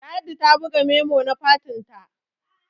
ladi ta buga memo na fatinta